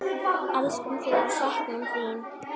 Elskum þig og söknum þín.